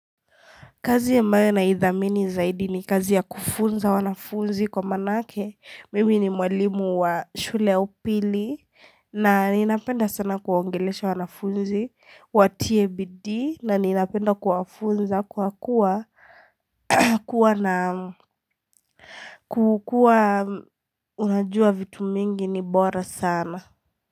Kazi ambayo naidhamini zaidi ni kazi ya kufunza wanafunzi kwa manake, mimi ni mwalimu wa shule ya upili na ninapenda sana kuwaongelesha wanafunzi watie bidii na ninapenda kuwafunza kwa kuwa kuwa na kukua unajua vitu mingi ni bora sana.